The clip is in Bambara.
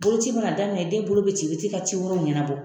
Boloci ma na daminɛ , den bolo be ci, i be taa i ka ci wɛrɛw ɲɛnabɔ.